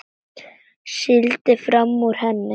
Sigldi fram úr henni.